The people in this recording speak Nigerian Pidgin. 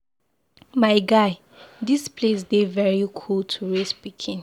My guy, dis place dey very cool to raise pikin